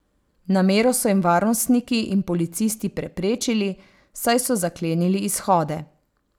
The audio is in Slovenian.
Namero so jim varnostniki in policisti preprečili, saj so zaklenili izhode.